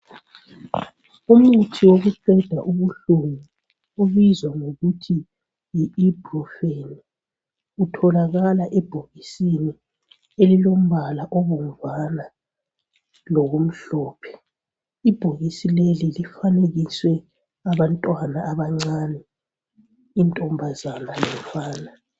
Umuthi wokuqeda ubuhlungu obizwa ngokuthi yi Ibuprofen, utholalakala ebhokisini elilombala obomvana lokumhlophe. Ibhokisi leli lifanekiswe abantwana abancane, intombazana lomfana